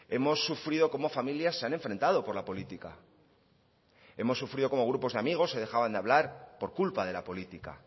hemos sufrido cómo familias se han enfrentado por la política hemos sufrido cómo grupos de amigos se dejaban de hablar por culpa de la política